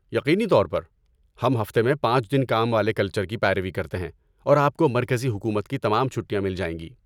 یقینی طور پر، ہم ہفتے میں پانچ دن کام والے کلچر کی پیروی کرتے ہیں اور آپ کو مرکزی حکومت کی تمام چھٹیاں مل جائیں گی